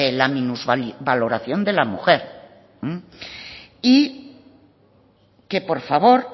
la minusvaloración de la mujer y que por favor